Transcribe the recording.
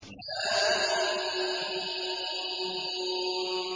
حم